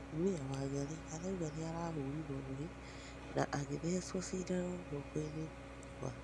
Mũtũmĩa Wangari araũga nĩahũrĩrwo rũhĩ na agĩthecwo cĩndano gũokoĩnĩ gwake